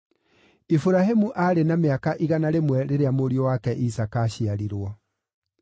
Iburahĩmu aarĩ na mĩaka igana rĩmwe rĩrĩa mũriũ wake Isaaka aaciarirwo.